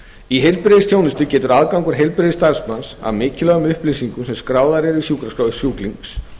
í heilbrigðisþjónustu getur aðgangur heilbrigðisstarfsmanns að mikilvægum upplýsingum sem skráðar eru í sjúkraskrá sjúklings